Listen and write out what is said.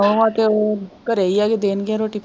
ਨੂੰਹਾਂ ਤੇ ਉਹ ਘਰੇ ਹੀ ਹੈ ਜੇ ਦੇਣਗੀਆਂ ਰੋਟੀ।